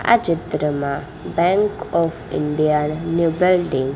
આ ચિત્રમાં bank of India નું --